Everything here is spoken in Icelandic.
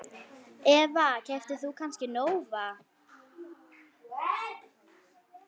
Eva: Keyptir þú kannski Nóa?